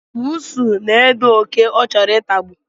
Bụụsu na-ede oké ọ chọrọ itagbu